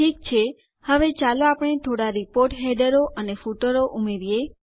ઠીક છે હવે ચાલો આપણે થોડા રીપોર્ટ હેડરો અને ફૂટરો ઉમેરીએ